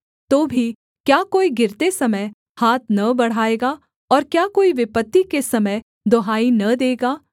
तो भी क्या कोई गिरते समय हाथ न बढ़ाएगा और क्या कोई विपत्ति के समय दुहाई न देगा